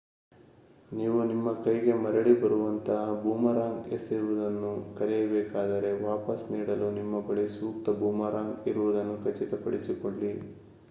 ನೀವು ನಿಮ್ಮ ಕೈಗೆ ಮರಳಿ ಬರುವಂತಹ ಬೂಮರಾಂಗ್ ಎಸೆಯುವುದನ್ನು ಕಲಿಯಬೇಕಾದರೆ ವಾಪಸ್ ನೀಡಲು ನಿಮ್ಮ ಬಳಿ ಸೂಕ್ತ ಬೂಮರಾಂಗ್ ಇರುವುದನ್ನು ಖಚಿತ ಪಡಿಸಿಕೊಳ್ಳಿ